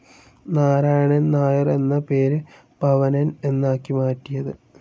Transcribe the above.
നാരായണൻ നായർ എന്ന പേര് പവനൻ എന്നാക്കി മാറ്റിയത്.